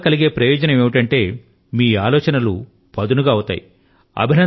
వ్రాయడం వల్ల కలిగే ప్రయోజనం ఏమిటంటే మీ ఆలోచన లు పదును గా అవుతాయి